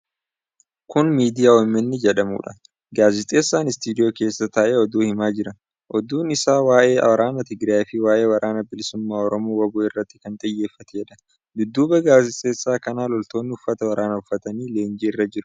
Kuni Miidiyaa OMN jedhamudha. Gaazexeessaan istiidiyoo keessa taa'ee oduu himaa jira. Oduun isaa waa'ee waraana Tigiraayi fi waa'ee Waraana Bilisummaa Oromoo(WBO) irratti kan xiyyeeffateedha. Dudduuba gazeexeessaa kana loltoonni uffata waraanaa uffatanii leenjii irra jiru.